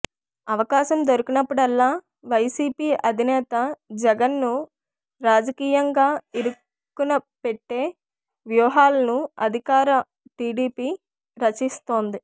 అవకాశం దొరికినప్పుడల్లా వైసిపి అధినేత జగన్ ను రాజకీయంగా ఇరుకునపెట్టే వ్యూహాలను అధికార టిడిపి రచిస్తోంది